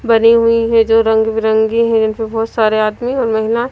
भरी हुई है जो रंग-बिरंगी है जो बहुत सारे आदमी और महिला--